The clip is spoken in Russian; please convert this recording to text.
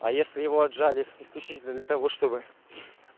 а если его отжали исключительно для того чтобы